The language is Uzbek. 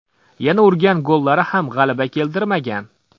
Yana urgan gollari ham g‘alaba keltirmagan.